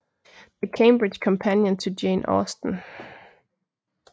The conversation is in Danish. The Cambridge Companion to Jane Austen